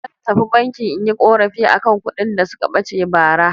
Zan tafi banki in yi ƙorafi a kan kuɗin da suka ɓace bara.